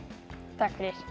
takk fyrir